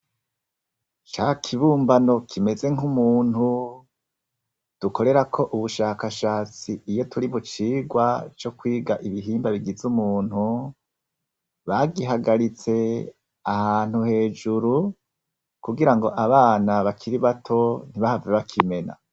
Ca kibumbano kimeze nk'umuntu dukorera ko ubushakashatsi iyo turi mu cirwa co kwiga ibihimba bigize umuntu bagihagaritse ahantu hejuru kugira ngo abana bakiri bato ntibahave bakimena.